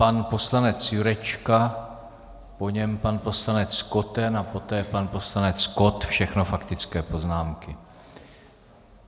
Pan poslanec Jurečka, po něm pan poslanec Koten a poté pan poslanec Kott, všechno faktické poznámky.